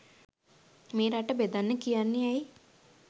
මේ රට බෙදන්න කියන්නේ ඇයි